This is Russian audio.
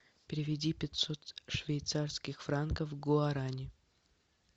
переведи пятьсот швейцарских франков в гуарани